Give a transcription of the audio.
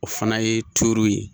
O fana ye turu ye